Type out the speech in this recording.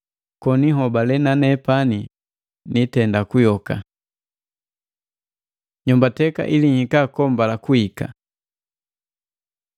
koni nhobale na nepani niitenda kuyoka. Nyombateka ili nhika kombala kuhika